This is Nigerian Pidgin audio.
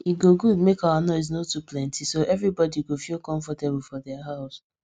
e go good make our noise no too plenty so everybody go feel comfortable for their house